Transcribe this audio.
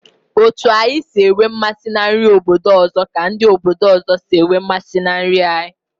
Otu anyi si enwe mmasị na nri obodo ọzọ ka ndị obodo ọzọ si enwe mmasị na nri anyị.